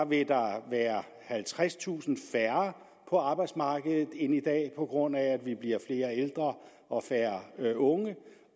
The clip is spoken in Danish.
vil der være halvtredstusind færre på arbejdsmarkedet end i dag på grund af at vi bliver flere ældre og færre unge